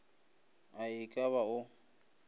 a e ka ba o